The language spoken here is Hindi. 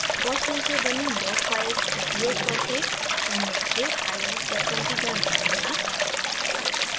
gaussian से बनी log files उपयोग करके अणुओं के ir spectrum की गणना करना